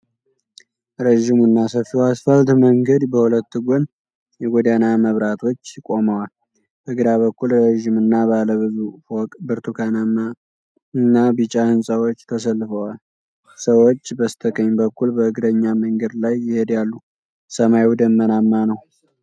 ረዥሙና ሰፊው አስፋልት መንገድ በሁለት ጎን የጎዳና መብራቶች ቆመዋል። በግራ በኩል ረጅም እና ባለ ብዙ ፎቅ ብርቱካናማ እና ቢጫ ህንፃዎች ተሰልፈዋል። ሰዎች በስተቀኝ በኩል በእግረኛ መንገድ ላይ ይሄዳሉ፤ ሰማዩ ደመናማ ነው።